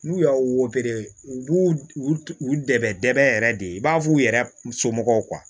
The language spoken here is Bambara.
N'u y'a u b'u u u dɛɛ yɛrɛ de i b'a fɔ u yɛrɛ somɔgɔw